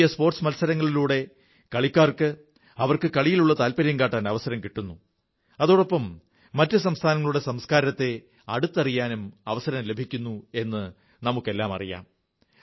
ദേശീയ സ്പോർട്സ് മത്സരങ്ങളിലൂടെ കളിക്കാർക്ക് അവർക്ക് കളിയിലുള്ള അഭിനിവേശം വ്യക്തമാക്കാൻ അവസരം കിട്ടുന്നു അതോടൊപ്പം മറ്റു സംസ്ഥാനങ്ങളുടെ സംസ്കാരത്തെ അടുത്തറിയാനും അവസരം ലഭിക്കുന്നു എന്നു നമുക്കെല്ലാമറിയാം